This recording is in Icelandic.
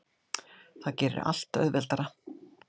Það gerir allt auðveldara.